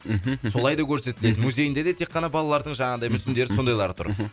мхм солай да көрсетіледі мхм музейінде де тек қана балалардың жаңағыдай мүсіндері сондайлары тұр мхм